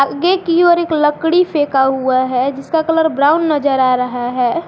गे की ओर एक लकड़ी फेंका हुआ है जिसका कलर ब्राउन नजर आ रहा है।